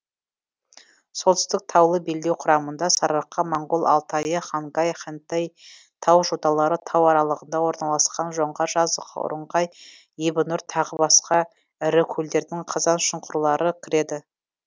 солтүстік таулы белдеу құрамына сарыарқа моңғол алтайы хангай хэнтэй тау жоталары тау аралығында орналасқан жоңғар жазығы ұрыңқай ебінұр тағы басқа ірі көлдердің қазаншұңқырлары кіреді